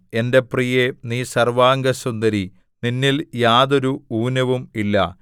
എന്റെ പ്രിയേ നീ സർവ്വാംഗസുന്ദരി നിന്നിൽ യാതൊരു ഊനവും ഇല്ല